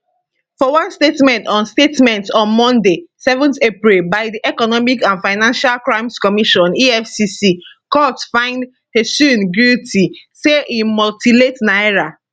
for one statement on statement on monday 7 april by di economic and financial crimes commission efcc court find huseini guilty say im mutilate naira